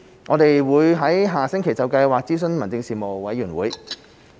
我們會於下星期就計劃諮詢立法會民政事務委員會。